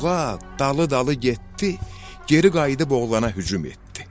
Buğa dalı-dalı getdi, geri qayıdıb oğlana hücum etdi.